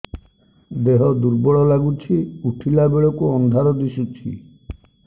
ଦେହ ଦୁର୍ବଳ ଲାଗୁଛି ଉଠିଲା ବେଳକୁ ଅନ୍ଧାର ଦିଶୁଚି